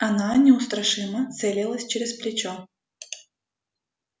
она неустрашимо целилась через плечо